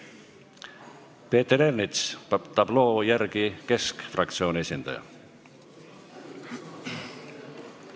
Peeter Ernits, tabloo järgi Keskerakonna fraktsiooni esindaja.